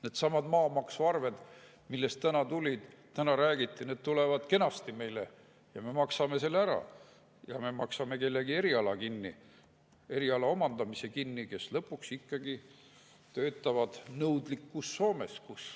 Needsamad maamaksuarved, millest täna räägiti, tulevad kenasti ja me maksame need ära ja me maksame eriala omandamise kinni kellelgi, kes lõpuks ikkagi töötab nõudlikus Soomes.